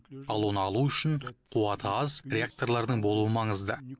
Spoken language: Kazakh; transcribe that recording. ал оны алу үшін қуаты аз реакторлардың болуы маңызды